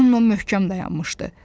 Rono möhkəm dayanmışdı.